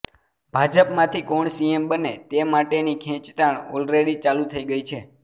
ભાજપમાંથી કોણ સીએમ બને તે માટેની ખેંચતાણ ઑલરેડી ચાલુ થઈ ગઈ છે